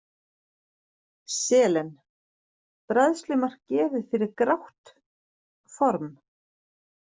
Selen: Bræðslumark gefið fyrir grátt form.